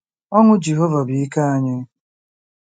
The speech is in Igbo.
Ọṅụ Jehova bụ ike anyị.